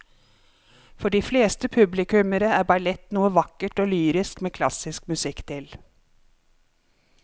For de fleste publikummere er ballett noe vakkert og lyrisk med klassisk musikk til.